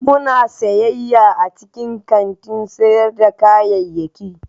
Muna siyayya a cikin kantin sayar da kayayyaki.